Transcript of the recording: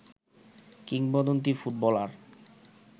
কিংবদন্তী ফুটবলার